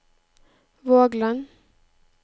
Vågland